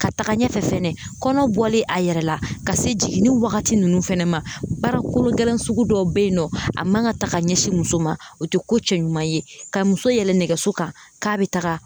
Ka taga ɲɛfɛ fɛnɛ kɔnɔ bɔli a yɛrɛ la ka se jiginni wagati ninnu fɛnɛ ma baara kolo gɛlɛn sugu dɔw bɛ yen nɔ a man ka taga ka ɲɛsin muso ma o tɛ ko cɛ ɲuman ye ka muso yɛlɛ nɛgɛso kan k'a bɛ taga